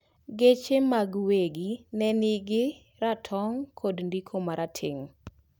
Geche mag wegi nenigi ratong kod ndiko marateng